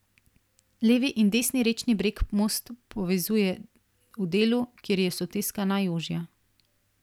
Levi in desni rečni breg most povezuje v delu, kjer je soteska najožja.